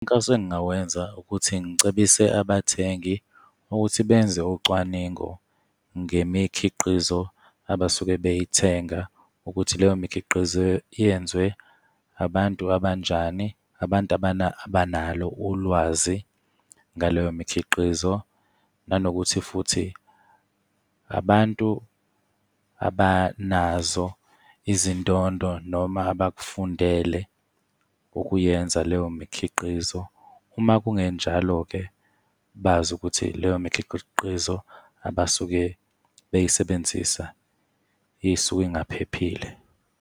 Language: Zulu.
Umkhankaso engingawenza ukuthi ngicebise abathengi ukuthi benze ucwaningo ngemikhiqizo abasuke beyithenga ukuthi leyo mikhiqizo yenziwe abantu abanjani, abantu abanalo ulwazi ngaleyo mikhiqizo, nanokuthi futhi abantu abanazo izindondo, noma abakufundele ukuyenza leyo mikhiqizo. Uma kungenjalo-ke, bazi ukuthi leyo mikhiqizo abasuke beyisebenzisa isuke ingaphephile.